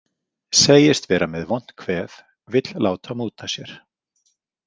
Segist vera með vont kvef, vill láta múta sér.